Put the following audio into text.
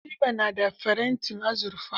Habiba na da farantin azurfa.